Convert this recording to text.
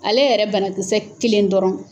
Ale yɛrɛ banakisɛ kelen dɔrɔn.